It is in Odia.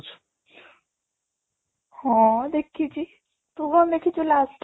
ହଁ, ଦେଖିଛି ତୁ କ'ଣ ଦେଖିଛୁ last?